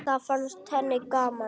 Það fannst henni gaman.